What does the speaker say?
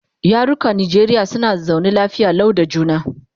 yarukan Najeriya suna zaune lafiya Lau da juna